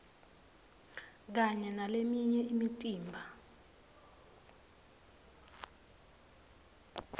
kanye naleminye imitimba